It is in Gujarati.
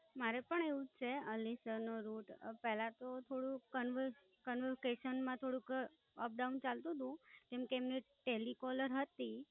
મારે પણ એવું જ છે, અલી સર નો Taru. પેલા તો થોડું કન્વ Conversion માં થોડુંક Up down ચાલતું તું, કેમ કે એમની Telecaller હતી.